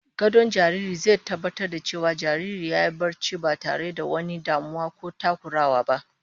Gadon jariri zai tabbatar da cewa jariri yayi barcin ba tare da wani damuwa ko takurawa ba